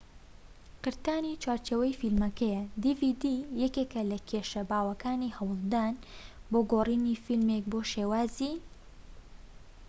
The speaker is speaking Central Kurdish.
یەکێك لە کێشە باوەکانی هەوڵدان بۆ گۆڕینی فلیمێك بۆ شێوازی dvd قرتانی چوارچێوەی فلیمەکەیە